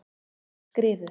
Skriðu